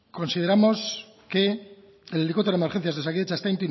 consideramos que el helicóptero de emergencias de osakidetza está